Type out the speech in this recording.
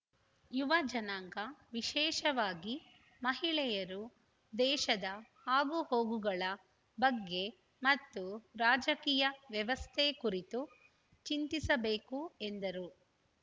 ಯುವ ಜನಾಂಗ ವಿಶೇಷವಾಗಿ ಮಹಿಳೆಯರು ದೇಶದ ಆಗುಹೋಗುಗಳ ಬಗ್ಗೆ ಮತ್ತು ರಾಜಕೀಯ ವ್ಯವಸ್ಥೆ ಕುರಿತು ಚಿಂತಿಸಬೇಕು ಎಂದರು